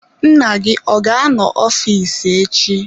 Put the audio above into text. Nna gị ọ ga-anọ n'ọfịs echi?